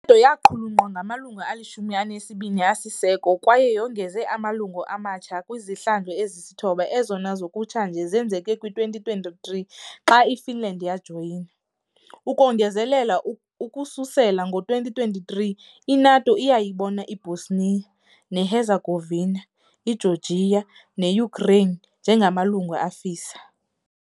TO yaqulunqwa ngamalungu alishumi elinesibini asisiseko kwaye yongeze amalungu amatsha kwizihlandlo ezisithoba, ezona zakutshanje zenzeke kwi-2023 xa iFinland yajoyina . Ukongezelela, ukususela ngo-2023, i-NATO iyayibona iBosnia neHerzegovina, iGeorgia ne-Ukraine njengamalungu afisa.